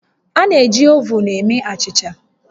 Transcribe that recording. A na-eji ovun eme achịcha